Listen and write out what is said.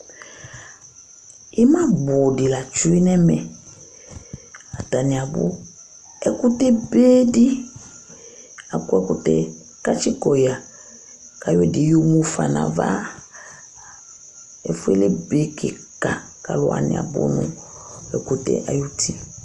Imabʋ di la tsʋe nʋ ɛmɛ Atani abʋ Ɛkʋtɛ be di akɔ ɛkʋtɛ kʋ ati kɔya kʋ ayɔ ɛdí yɔ mʋfa nu ava Ɛfʋɛ lebe kìka kʋ alu wani abʋ nʋ ɛkʋtɛ ayʋ ti